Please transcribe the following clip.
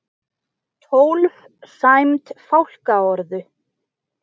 Tólf sæmd fálkaorðu